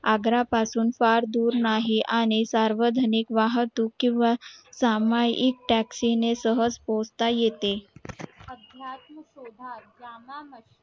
आग्रा पासून फार दूर नाही आणि सार्वजनिक वाहतूक किव्हा सामूहिक taxi पोहचता येते